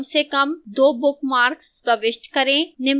कम से कम 2 bookmarks प्रविष्ट करें